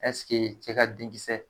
cɛ ka denkisɛ